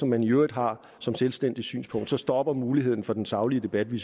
man i øvrigt har som selvstændigt synspunkt stopper muligheden for den saglige debat vi